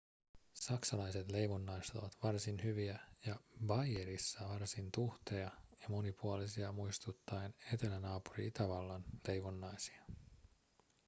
saksalaiset leivonnaiset ovat varsin hyviä ja baijerissa varsin tuhteja ja monipuolisia muistuttaen etelänaapuri itävallan leivonnaisia